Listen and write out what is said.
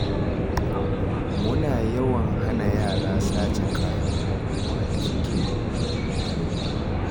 Muna yawan hana yara sace kayan hukuma da suke garinmu